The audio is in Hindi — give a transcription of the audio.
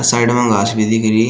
साइड में वॉच भी दिख रही--